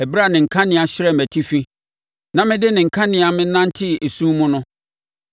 ɛberɛ a ne kanea hyerɛn mʼatifi na mede ne kanea menantee esum mu no!